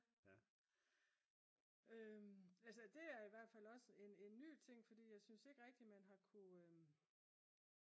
altså det er i hvert fald også en ny ting fordi jeg synes ikke rigtig man har kunnet